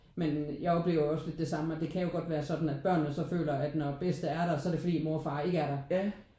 Men jeg oplever jo også lidt det samme at det kan jo godt være sådan at børnene så føler at når bedste er der så er det fordi mor og far ikke er der